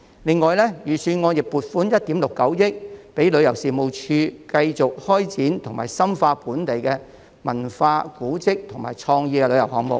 此外，預算案亦撥款1億 6,900 萬元予旅遊事務署，以作繼續開展及深化本地的文化、古蹟和創意旅遊項目。